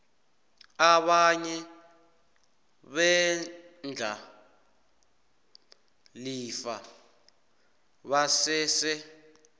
abanye beendlalifa basese